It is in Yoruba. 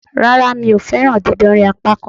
Rárá, mi o fẹ́ràn dídánrí apákan